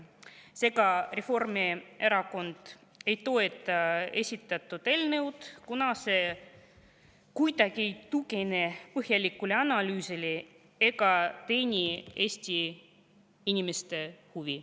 Seega, Reformierakond ei toeta esitatud eelnõu, kuna see ei tugine põhjalikule analüüsile ega teeni Eesti inimeste huve.